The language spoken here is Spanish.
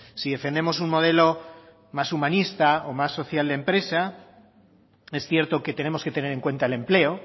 si defendemos un modelo más humanista o más social de empresa es cierto que tenemos que tener en cuenta el empleo